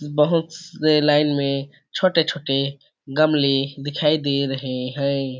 बहुत से लाइन में छोटे -छोटे गमले दिखाई दे रहै हैं।